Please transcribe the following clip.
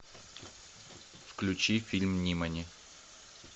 включи фильм нимани